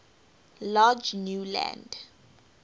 large new land